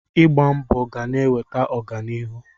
Ịgba mbọ ga na-eweta ọganihu.